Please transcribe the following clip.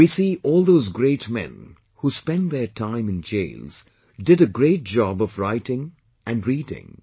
We see all those great men who spent their time in jails did a great job of writing and reading